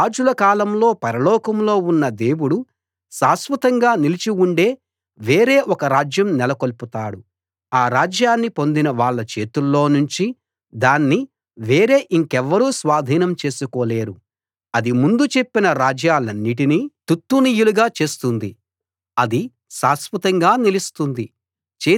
ఆ రాజుల కాలంలో పరలోకంలో ఉన్న దేవుడు శాశ్వతంగా నిలిచి ఉండే వేరే ఒక రాజ్యం నెలకొల్పుతాడు ఆ రాజ్యాన్ని పొందిన వాళ్ళ చేతుల్లో నుంచి దాన్ని వేరే ఇంకెవ్వరూ స్వాధీనం చేసుకోలేరు అది ముందు చెప్పిన రాజ్యాలన్నిటినీ తుత్తునియలు చేస్తుంది అది శాశ్వతంగా నిలుస్తుంది